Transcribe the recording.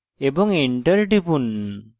এবং enter টিপুন